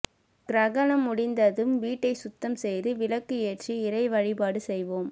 கிரகணம் முடிந்ததும் வீட்டை சுத்தம் செய்து விளக்கு ஏற்றி இறை வழிபாடு செய்யவும்